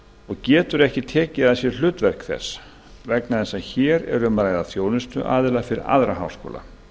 og getur ekki tekið að sér slíkt hlutverk vegna þess að um er að ræða þjónustuaðila fyrir aðra háskóla